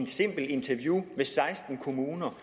simple interview i seksten kommuner